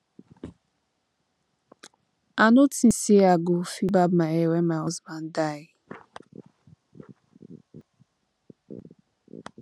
i no think say i go fit barb my hair wen my husband die